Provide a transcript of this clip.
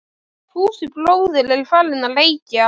Fúsi bróðir er farinn að- reykja!